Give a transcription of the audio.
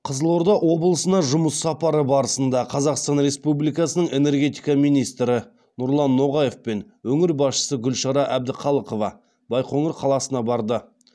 қызылорда облысына жұмыс сапары барысында қазақстан республикасының энергетика министрі нұрлан ноғаев пен өңір басшысы гүлшара әбдіқалықова байқоңыр қаласына барды